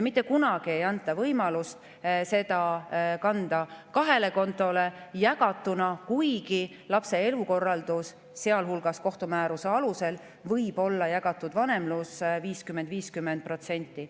Mitte kunagi ei anta võimalust kanda seda kahele kontole, jagatuna, kuigi lapse elukorraldus, sealhulgas kohtumääruse alusel, võib olla jagatud vanemlus, 50% : 50%.